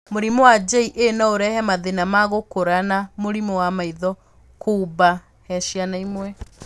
Mũrimũ wa JA no ũrehe mathĩna ma gũkũra na mũrimũ wa maitho kuuba he ciana imwe.